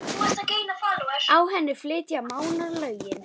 Á henni flytja Mánar lögin